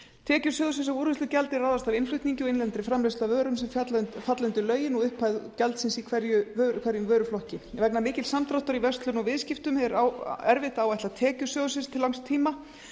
tekjur sjóðsins af úrvinnslugjaldi ráðast af innflutningi og innlendri framleiðslu af vörum sem falla undir lögin og upphæð gjaldsins í hverjum vöruflokki vegna mikils samdráttar í verslun og viðskiptum er erfitt að áætla tekjur sjóðsins til langs tíma